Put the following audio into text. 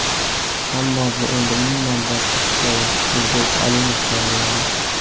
Ammo bu endi umuman boshqa hikoya ... Nurbek Alimov tayyorladi.